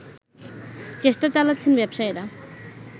চেষ্টা চালাচ্ছেন ব্যবসায়ীরা